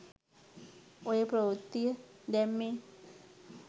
ඔය ප්‍රවෘත්තිය දැම්මේ